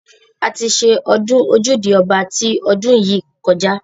A ti ṣe ọdún ojúde ọba ti ọdún yìí kọjá.